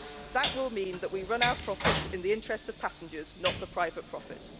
That will mean that we run our profits in the interests of passengers, not for private profit.